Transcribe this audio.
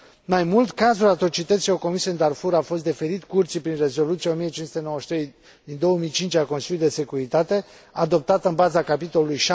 Mai mult, cazul atrocităților comise în Darfur a fost deferit Curții prin Rezoluția 1593 din 2005 a Consiliului de Securitate, adoptată în baza capitolului